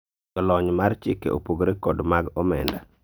jolony mar chike opogore kod mag omenda